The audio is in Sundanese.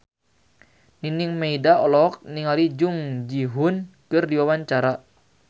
Nining Meida olohok ningali Jung Ji Hoon keur diwawancara